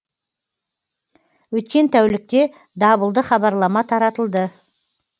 өткен тәулікте дабылды хабарлама таратылды